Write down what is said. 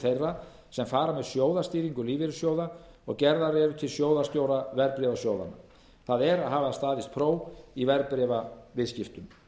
þeirra sem fara með sjóðstýringu lífeyrissjóða og gerðar eru til sjóðstjóra verðbréfasjóðanna það er að hafa staðist próf í verðbréfaviðskiptum í frumvarpinu